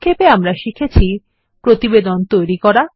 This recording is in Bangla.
সংক্ষেপে আমরা শিখেছি প্রতিবেদন তৈরী করা